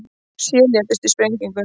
Sjö létust í sprengingu